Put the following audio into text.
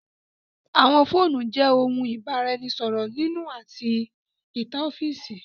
Àwọn fóònù jẹ òun ibaraẹnisọrọ nínú àti ní ìta ọfiisi.